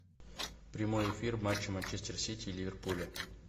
прямой эфир матча манчестер сити и ливерпуля